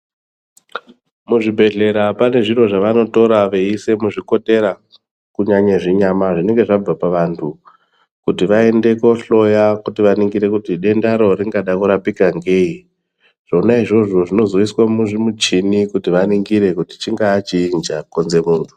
Muzvibhedhlera panezviro zvavanotora veyiise muzvikotera kunyanya zvinyama zvinenge zvabva pavantu kuti vaende kohloya kuti vaningire kuti dendaro ringada kurapika ngei. Zvona izvozvo zvinozoiswa muzvimuchini kuti vaningire kuti chingaa chiinyi chakonze muntu.